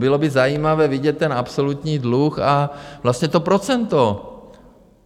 Bylo by zajímavé vidět ten absolutní dluh a vlastně to procento.